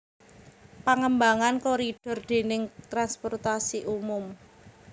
Pangembangan koridor dèning transportasi umum